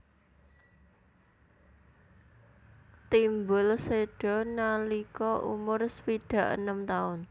Timbul séda nalika umur swidak enem taun